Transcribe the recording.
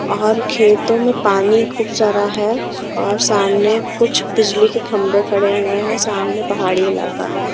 और खेतों में पानी खूब सारा है और सामने कुछ बिजली के खंबे पड़े हुए हैं सामने पहाड़ी इलाका है।